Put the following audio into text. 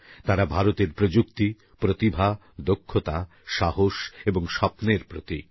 তাঁরা ভারতের প্রযুক্তি প্রতিভা দক্ষতা সাহস এবং স্বপ্নের প্রতীক